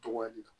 Togoya di